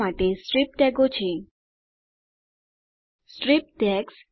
strip tags